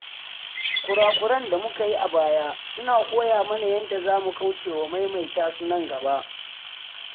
Kura-kuren da muka yi a baya suna koya mana yadda za mu kaucewa maimaita su nan gaba.